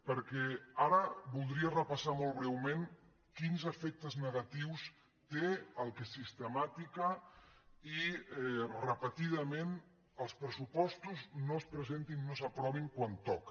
perquè ara voldria repassar molt breument quins efectes negatius té que sistemàticament i repetidament els pressupostos no es presentin no s’aprovin quan toca